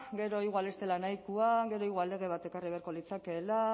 gero igual ez dela nahikoa gero igual lege bat ekarri beharko litzatekeela